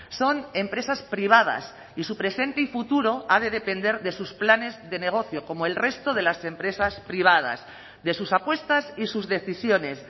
son empresas privadas y su presente y futuro ha de depender de sus planes de negocio como el resto de las empresas privadas de sus apuestas y sus decisiones